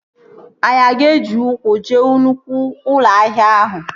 Anyị aga eji ụkwụ jee nnụkwụ ụlọ ahịa ahụ?